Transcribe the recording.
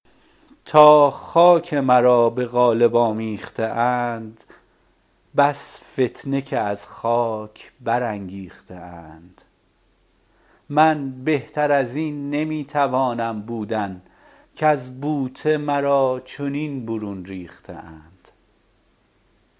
تا خاک مرا به قالب آمیخته اند بس فتنه که از خاک برانگیخته اند من بهتر ازین نمی توانم بودن کز بوته مرا چنین برون ریخته اند